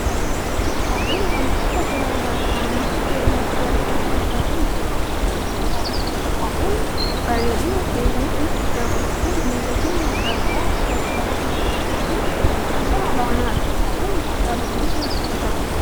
Kopheen waantota garaagaraa naannoo keenyatti argaman irraa kan tolfamedha. Kopheen bareedina keenya nuuf dabaluu fi miila keenya irraa balaa addaa addaa ittisuuf gaheen isaa olaanaadha. Kopheen gogaa loonii irraa hojjetama.